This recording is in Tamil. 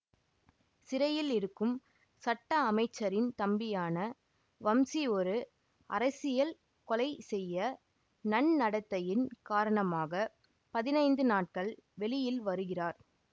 சிறையில் இருக்கும் சட்ட அமைச்சரின் தம்பியான வம்சி ஒரு அரசியல் கொலை செய்ய நன்னடத்தையின் காரணமாக பதினைந்து நாட்கள் வெளியில் வருகிறார்